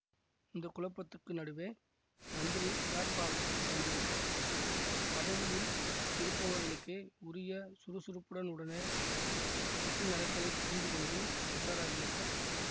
இந்த குழப்பத்துக்கு நடுவே மந்திரி பிளாட்பாரத்துக்கு வந்து விட்டார் பதவியில் இருப்பவர்களுக்கே உரிய சுறுசுறுப்புடன் உடனே சுற்றி நடப்பதை புரிந்து கொண்டு உஷாராகி விட்டார்